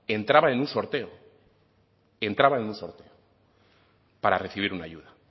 entraban en un sorteo entraban en un sorteo para recibir una ayuda